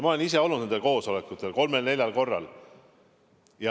Ma olen ise olnud nendel koosolekutel kolmel-neljal korral.